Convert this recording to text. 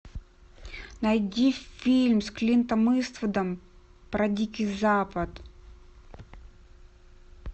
найди фильм с клинтом иствудом про дикий запад